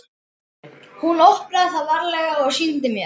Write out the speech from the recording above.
Hún opnaði það varlega og sýndi mér.